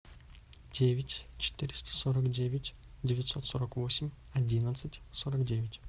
девять четыреста сорок девять девятьсот сорок восемь одиннадцать сорок девять